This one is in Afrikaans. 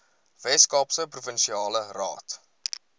weskaapse provinsiale raad